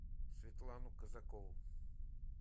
светлану казакову